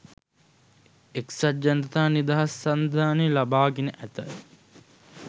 එක්සත්ජනතා නිදහස් සන්ධානය ලබාගෙන ඇත.